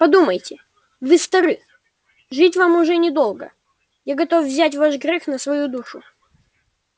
подумайте вы стары жить вам уже недолго я готов взять грех ваш на свою душу